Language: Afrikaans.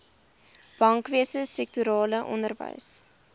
bankwese sektorale onderwys